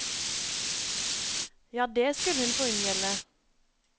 Ja, det skulle hun få unngjelde!